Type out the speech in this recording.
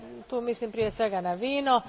Tu mislim prije svega na vino.